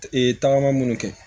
Ee tagama munnu kɛ